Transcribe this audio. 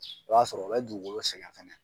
o y'a sɔrɔ o bɛ dugukolo sɛŋɛ fɛnɛ.